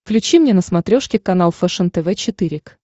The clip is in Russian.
включи мне на смотрешке канал фэшен тв четыре к